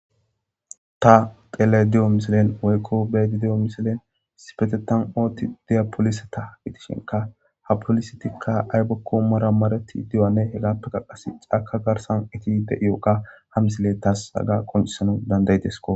ta tele di7o misilen oykko beedi diyo misilen sipetetan ootti diyapolisata itishinka ha polisetikka aybekko mara mareti dioane hegappe qaqas caka garsan iti de7iyooqa ha misile tas haga qoncisana dandaydesko